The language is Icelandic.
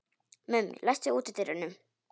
Mummi, læstu útidyrunum.